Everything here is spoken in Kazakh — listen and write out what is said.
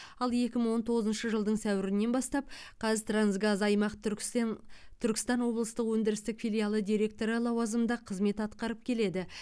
ал екі мың он тоғызыншы жылдың сәуірінен бастап қазтрансгаз аймақ түркістентүркістан облыстық өндірістік филиалы директоры лауазымында қызмет атқарып келеді